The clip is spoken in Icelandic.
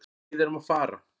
Við erum að fara.